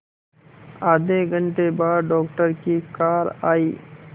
आधे घंटे बाद डॉक्टर की कार आई